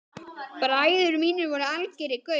Bræður mínir voru algerir gaurar.